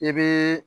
I bɛ